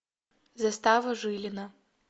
застава жилина